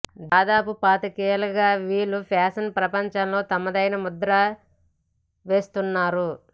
దాదాపు పాతికేళ్లుగా వీళ్లు ఫ్యాషన్ ప్రపంచంలో తమదైన ముద్ర వేస్తున్నారు